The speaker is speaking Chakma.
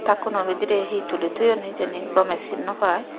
taak kuno bidirey hee tuli toyon hijeni gomey sin no pai.